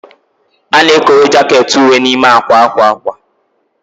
A na-ekowe jaket uwe ahụ n'ime akwa akwa akwa